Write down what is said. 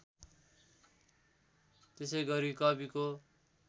त्यसै गरी कविको